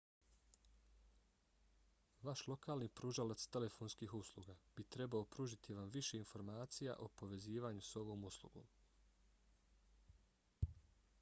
vaš lokalni pružalac telefonskih usluga bi trebao pružiti vam više informacija o povezivanju s ovom uslugom